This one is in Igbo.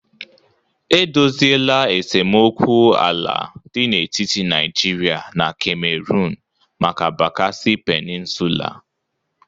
E dosịela esemokwu ala dị n'etiti Naijiria na Camerun maka bakassi Peninsula